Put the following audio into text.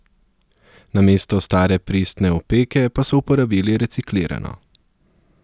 Namesto stare pristne opeke pa so uporabili reciklirano.